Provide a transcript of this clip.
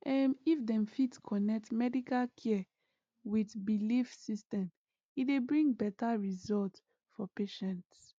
ehm if dem fit connect medical care with belief system e dey bring better result for patients